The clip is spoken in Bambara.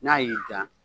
N'a y'i diya